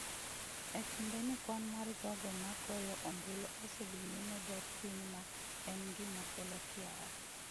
E kindeni kwan mar jogo ma goyo ombulu osedhi nyime dok piny ma en gima kelo kiawa.